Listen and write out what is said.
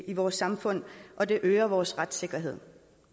i vores samfund og det øger vores retssikkerhed